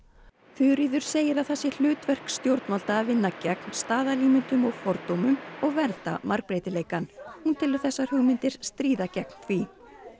Þuríður segir að það sé hlutverk stjórnvalda að vinna gegn staðalímyndum og fordómum og vernda margbreytileika hún telur þessar hugmyndir stríða gegn því